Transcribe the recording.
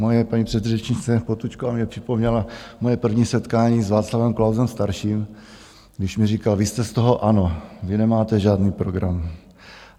Moje paní předřečnice Potůčková mně připomněla moje první setkání s Václavem Klausem starším, když mi říkal: Vy jste z toho ANO, vy nemáte žádný program.